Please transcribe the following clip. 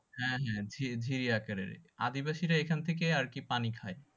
হ্যাঁ হ্যাঁ ঝি~ঝিরি আকারের আদিবাসীরা এখানথেকেই আরকি পানি খাই